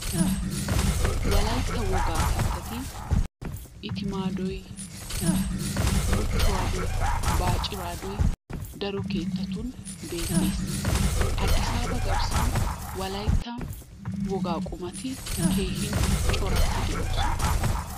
Wolaytta wogaa kattati itimaadoy, muchchuwadoy, baacciraadoy daro keettatun beettes. Addisaaba garssan wolaytta wogaa qumaa qommoti keehin coratti de'oosona.